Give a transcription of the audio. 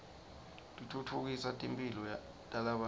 titfutfukisa timphilo talabanye